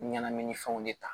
Ɲɛnaminifɛnw de ta